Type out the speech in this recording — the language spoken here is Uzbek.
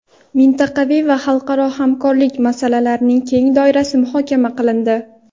mintaqaviy va xalqaro hamkorlik masalalarining keng doirasi muhokama qilindi.